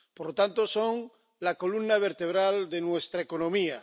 Por lo tanto, son la columna vertebral de nuestra economía.